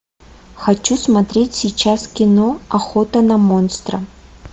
хочу смотреть сейчас кино охота на монстра